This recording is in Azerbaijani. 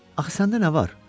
Axı səndə nə var?